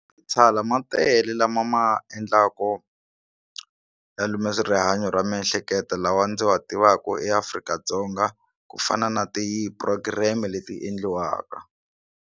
Ma tele lama ma endlaku ya lume rihanyo ra miehleketo lawa ndzi wa tivaku eAfrika-Dzonga ku fana na ti program leti endliwaka.